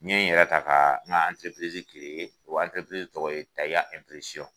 N ye n yɛrɛ ta ka n ka o tɔgɔ ye taya .